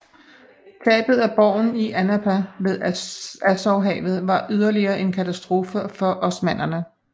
Tabet af borgen i Anapa ved Azovhavet var yderligere en katastrofe for osmannerne